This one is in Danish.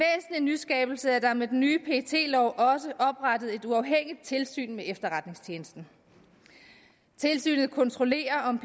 nyskabelse er der med den nye pet lov også oprettet et uafhængigt tilsyn med efterretningstjenesten tilsynet kontrollerer om